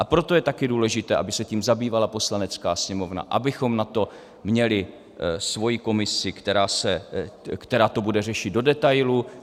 A proto je taky důležité, aby se tím zabývala Poslanecká sněmovna, abychom na to měli svoji komisi, která to bude řešit do detailů.